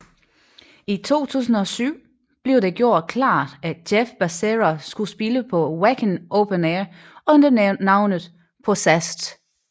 I 2007 blev det gjort klart at Jeff Becerra skulle spille på Wacken Open Air under navnet Possessed